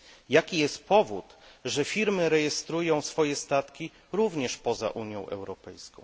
Jaki jest powód, że firmy rejestrują swoje statki również poza Unią Europejską?